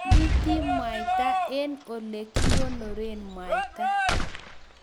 Anyiti mwaita eng olegikonoree mwaita